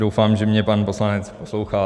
Doufám, že mě pan poslanec poslouchá.